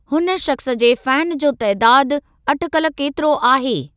हुन शख़्स जे फैन जो तइदादु अटिकल केतिरो आहे?